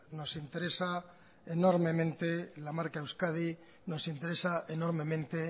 nos interesa enormemente la marca euskadi nos interesa enormemente